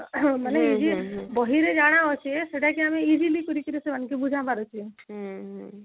ହଁ ମନେ ବହିରେ ଜାଣ ଅଛି ସେଟାକେ ଆମେ easily କରିକିରି ସେମାନଙ୍କେ ବୁଝା ପାରୁଛେ